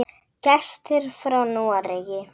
Gestir frá Noregi.